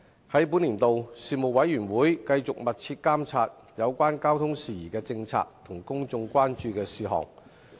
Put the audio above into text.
在本年度，事務委員會繼續密切監察有關交通事宜的政策和公眾關注的事項。